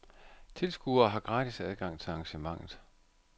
Tilskuere har gratis adgang til arrangementet.